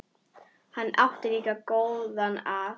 Hann átti líka góða að.